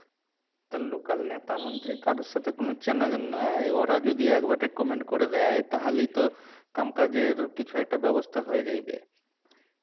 তা local নেতা মন্ত্রী কারুর সাথে কোনো চেনাজানা নেই ওরা যদি একবার recommend করে দেয় তাহলেই তো কামকাজের কিছু একটা ব্যবস্থা হয়ে যাইবে"